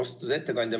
Austatud ettekandja!